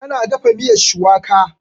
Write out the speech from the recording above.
Ta na dafa miyar shuwaka.